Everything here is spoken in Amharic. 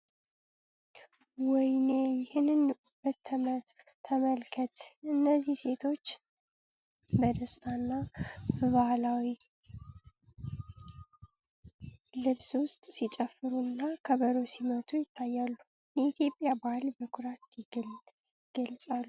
ወይኔ! ይህንን ውበት ተመልከት! እነዚህ ሴቶች በደስታና በባህላዊ ልብስ ውስጥ ሲጨፍሩ እና ከበሮ ሲመቱ ይታያሉ፤ የኢትዮጵያን ባህል በኩራት ይገልጻሉ !